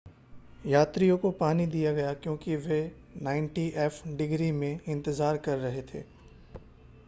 यात्रियों को पानी दिया गया क्योंकि वे 90 f - डिग्री गर्मी में इंतज़ार कर रहे थे